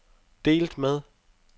delt med